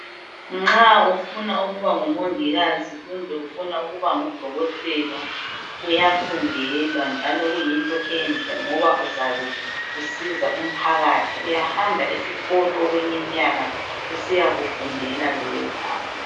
Nxa ufuna ukuba ngomongikazi kumbe ufuna ukuba ngudokotela kuyafundelwa njalo kuyinto enhle ngoba uzabe usiza umphakathi uyahamba esikolo okweminyaka usiyakufundela lokhu